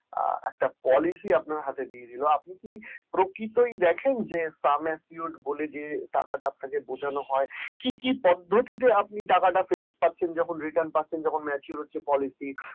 আচ্ছা policy আপনার হাতে দিয়ে দিলো আপনি কি প্রকৃতই দেখেন যে sum assured বলে যে টাকা টা বোঝানো হয় কি কি পদ্ধতিতে আপনি টাকাটা আপনি ফেরত পাচ্ছেন যখন return পাচ্ছেন যখন mature হচ্ছে policy